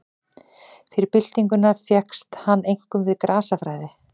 Fyrir byltinguna fékkst hann einkum við grasafræði.